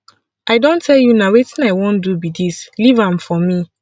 i don tell you na wetin i wan do be dis leave am for me